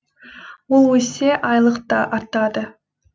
ол өссе айлық та артады